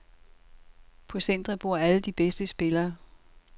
På centret bor alle de bedste spillere.